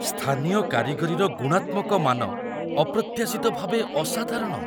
ସ୍ଥାନୀୟ କାରିଗରିର ଗୁଣାତ୍ମକ ମାନ ଅପ୍ରତ୍ୟାଶିତ ଭାବେ ଅସାଧାରଣ।